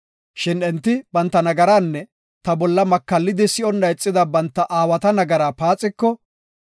Shin enti banta nagaraanne ta bolla makallidi si7onna ixida banta aawata nagaraa paaxiko,